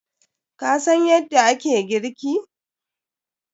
Ka san yadda ake girki?